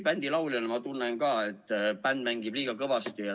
Bändi lauljana ma tihti tunnen ka, et bänd mängib liiga kõvasti.